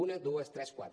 una dues tres quatre